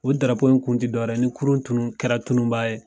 O in kun ti dɔwɛrɛ ye ni kurun tunun kɛra tunun b'a ye.